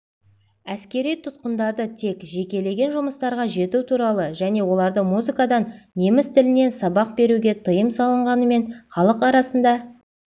әскери тұтқындарды тек жекелеген жұмыстарға жегу туралы және оларды музыкадан неміс тілінен сабақ беруге тиым салынғанымен халық арасында